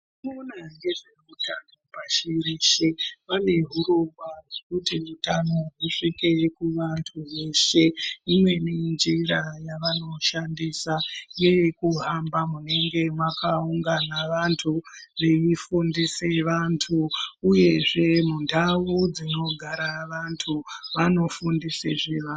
Vanoona ngezveutano pashi reshe vane hurongwa hwekuti utano husvike kuvantu veshe. Imweni njira yavanoshandisa ngeye kuhamba munenge mwakaungana vantu veifundise vantu uyezve mundau dsinogara vantu vanofundise zveva.